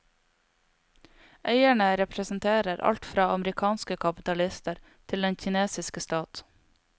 Eierne representerer alt fra amerikanske kapitalister til den kinesiske stat.